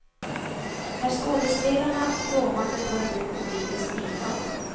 När skådespelarna kråmande tar emot publikens bifall.